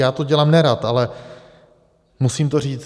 Já to dělám nerad, ale musím to říct.